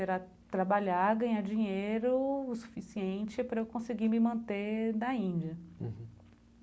Era trabalhar, ganhar dinheiro o suficiente para eu conseguir me manter da Índia uhum.